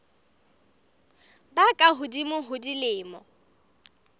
ba ka hodimo ho dilemo